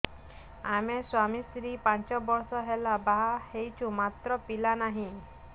ଆମେ ସ୍ୱାମୀ ସ୍ତ୍ରୀ ପାଞ୍ଚ ବର୍ଷ ହେଲା ବାହା ହେଇଛୁ ମାତ୍ର ପିଲା ନାହିଁ